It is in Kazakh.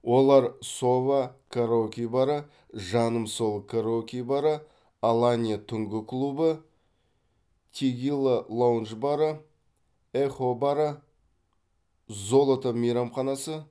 олар сова караоке бары жаным сол караоке бары аланья түнгі клубы тегила лаундж бары эхо бары золото мейрамханасы